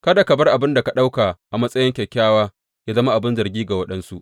Kada ka bar abin da ka ɗauka a matsayi kyakkyawa yă zama abin zargi ga waɗansu.